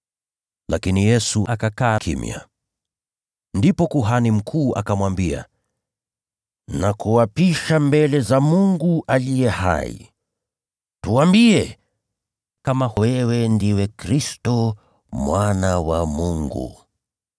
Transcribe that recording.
Lakini Yesu akakaa kimya. Ndipo kuhani mkuu akamwambia, “Nakuapisha mbele za Mungu aliye hai. Tuambie kama wewe ndiwe Kristo, Mwana wa Mungu.”